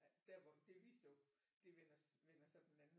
Der hvor det vi så det vender vender så den anden